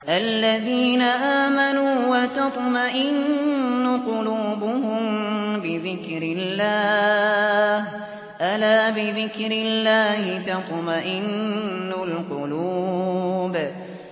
الَّذِينَ آمَنُوا وَتَطْمَئِنُّ قُلُوبُهُم بِذِكْرِ اللَّهِ ۗ أَلَا بِذِكْرِ اللَّهِ تَطْمَئِنُّ الْقُلُوبُ